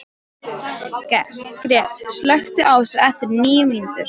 Gret, slökktu á þessu eftir níu mínútur.